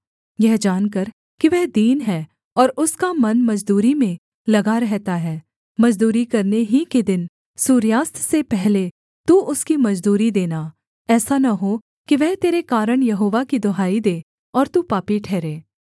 यह जानकर कि वह दीन है और उसका मन मजदूरी में लगा रहता है मजदूरी करने ही के दिन सूर्यास्त से पहले तू उसकी मजदूरी देना ऐसा न हो कि वह तेरे कारण यहोवा की दुहाई दे और तू पापी ठहरे